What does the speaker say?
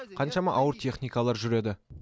қаншама ауыр техникалар жүреді